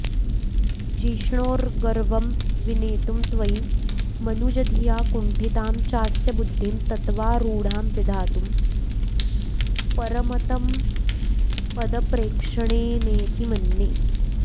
जिष्णोर्गर्वं विनेतुं त्वयि मनुजधिया कुण्ठितां चास्य बुद्धिं तत्त्वारूढां विधातुं परमतमपदप्रेक्षणेनेति मन्ये